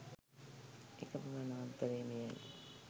එකම වනාන්තරය මෙය යි